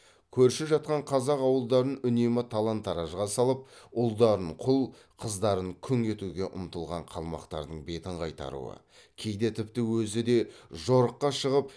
көрші жатқан қазақ ауылдарын үнемі талан таражға салып ұлдарын құл қыздарын күң етуге ұмтылған қалмақтардың бетін қайтаруы кейде тіпті өзі де жорыққа шығып